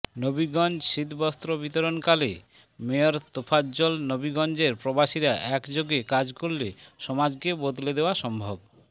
নবীগঞ্জ শীতবস্ত্র বিতরণকালে মেয়র তোফাজ্জল নবীগঞ্জের প্রবাসীরা একযোগে কাজ করলে সমাজকে বদলে দেওয়া সম্ভব